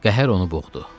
qəhər onu boğdu.